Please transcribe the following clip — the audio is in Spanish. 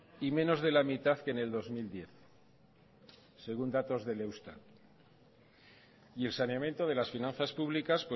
y menos de la mitad que en el dos mil diez según datos del eustat y el saneamiento de las finanzas públicas